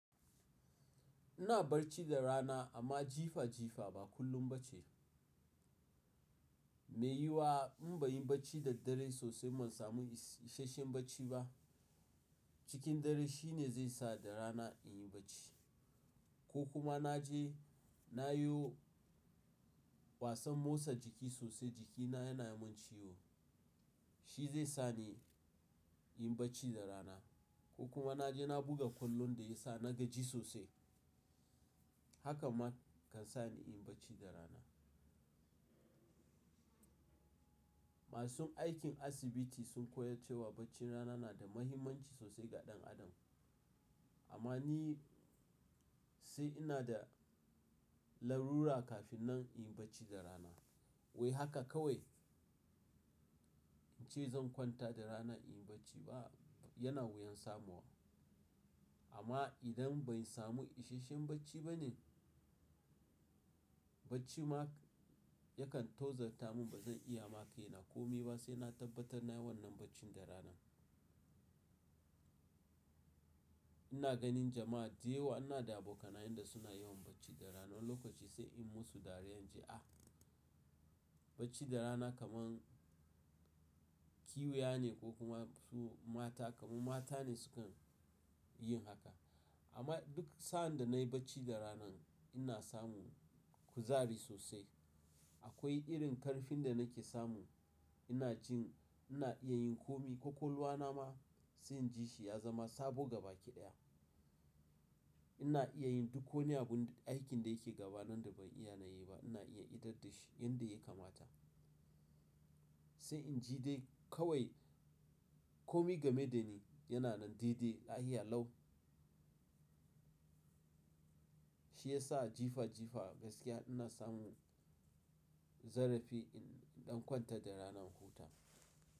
Ina barci da rana amma jifa jifa ba kullum ba ce. Me yi wa in ba yin bacci da dare sosai ban samu isasshen bacci ba. Cikin dare shine zai sa da rana in yi bacci. Ko kuma na je na yo wasan motsa jiki sosai jikina yana mun ciwo. Shi zai sa ni in bacci da rana. Ko kuma na je na buga kwallon da ya sa na gaji sosai. Haka man kan sa ni in bacci da rana. Masun aikin asibiti sun koyace wa bacci rana na da mahimmanci sosai ga ɗan adam. Amma ni sai ina da lalura kafin nan in yi bacci da rana. Wai haka kawai in ce zan kwanta da rana in yi bacci a'a yana wuyan samuwa. Amma idan ban samu isasshen bacci bane, bacci ma yakan tozarta mun ba zan iya ma kaina komi ba sai na tabbatar na yi wannan baccin da rana. Ina ganin jama'a da yawa ana da abokanaye da suna yawan bacci da rana. Wani lokaci sai in musu dariya in ji, ah bacci da rana kaman ƙwiya ne ko kuma su mata kaman mata ne sukan yin haka. Amma duk sa'an da nayi bacci da rana ina samu kuzari sosai. Akwai irin ƙarfin da nake samu. Ina jin ina iya yin komi ƙwaƙwalwa na ma sai in ji shi ya zama sabo gaba ki daya. Ina iya yin duk wani abun aikin da yake gaba nan da ban iya na yi ba ina iya idar da shi yanda ya kamata. Sai in ji dai kawai komi game da ni yana nan daidai lahiya lau. Shi ya sa jifa jifa gaskiya ina samu zarafi in ɗan kwanta da ranan huta.